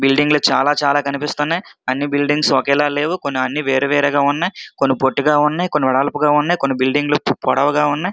Building లు చాలా చాలా కనిపిస్తున్నాయ్. అన్ని బిల్డింగ్స్ ఒకేలా లేవు. కొన్ని అన్ని వేరు వేరేగా ఉన్నాయ్. కొన్ని పొట్టిగా ఉన్నాయ్. కొన్ని వెడల్పుగా ఉన్నాయ్. కొన్ని బిల్డింగ్ లు పొడవుగా ఉన్నాయ్.